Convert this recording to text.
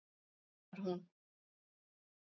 veinar hún.